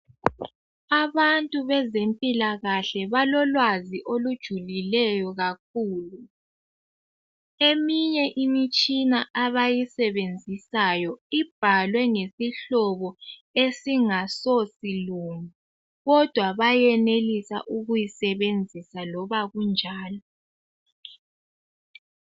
Abantu bezempilakahle balolwazi olujulileyo kakhulu eminye imitshina abayisebenzisayo ibhalwe ngesihlobo esingaso silungu kodwa bayenelisa ukuyisebenzisa loba kunjani.